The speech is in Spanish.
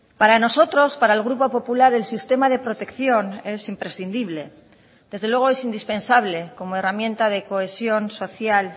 para nosotros para el grupo popular el sistema de protección es imprescindible desde luego es indispensable como herramienta de cohesión social